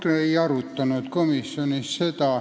Ei, me ei arutanud seda komisjonis.